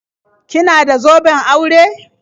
Kina da zoben aure?